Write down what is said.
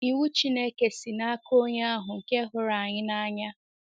Iwu Chineke si n’aka Onye ahụ nke hụrụ anyị n’anya.